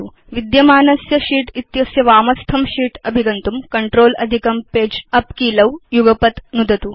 विद्यमानस्य शीत् इत्यस्य वामस्थं शीत् अभिगन्तुं कंट्रोल अधिकं पगे उप् कीलौ युगपत् नुदतु